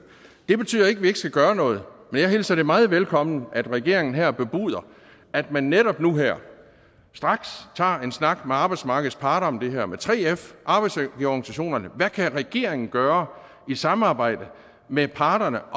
det betyder ikke at vi ikke skal gøre noget jeg hilser det meget velkommen at regeringen her bebuder at man netop nu her straks tager en snak med arbejdsmarkedets parter om det her med 3f og arbejdsgiverorganisationerne hvad kan regeringen gøre i samarbejde med parterne